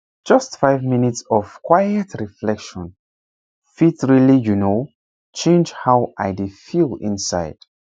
just five minutes of quiet reflection fit really you know change how i dey feel inside